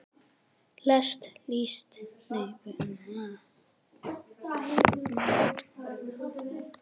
lest list líst